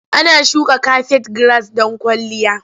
Ana shuka kafet giras don kwalliya.